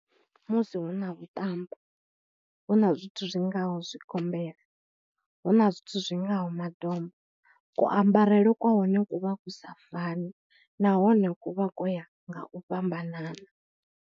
Musi hu na vhuṱambo hu na zwithu zwi ngaho zwigombela, hu na zwithu zwi ngaho madomba, kuambarele kwa hone ku vha ku sa fani nahone ku vha ko ya nga u fhambanana.